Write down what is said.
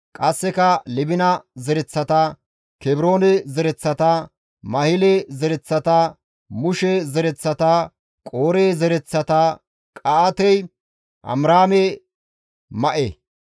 Qasseka Libina zereththata, Kebroone zereththata, Mahile zereththata, Mushe zereththata, Qoore zereththata, Qa7aatey Amiraame ma7e.